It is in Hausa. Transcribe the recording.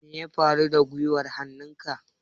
Me ya faru da guiwar hannunka?